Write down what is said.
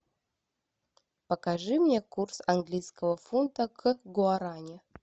покажи мне курс английского фунта к гуарани